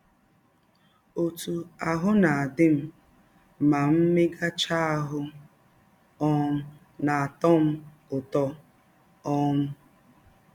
“ Ọtụ ahụ́ na - adị m ma m megachaa ahụ́ um na - atọ m ụtọ. um